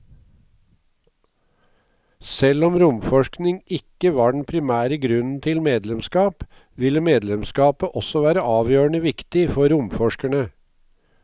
Selv om romforskning ikke var den primære grunnen til medlemskap, ville medlemskapet også være avgjørende viktig for romforskerne.